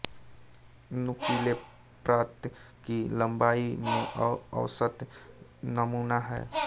नुकीले प्राप्त की लंबाई में औसत नमूना है